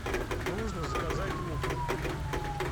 нужно заказать лук